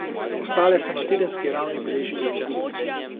Ostale so na tedenski ravni beležile izgubo.